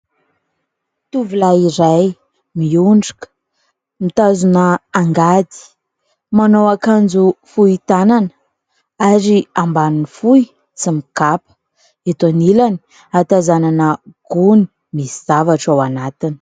Tovolahy iray, miondrika, mitazona angady, manao akanjo fohy tanana ary ambaniny fohy, tsy mikapa. Eto anilany ahatazanana gony misy zavatra ao anatiny.